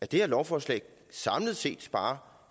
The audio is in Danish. det her lovforslag samlet set sparer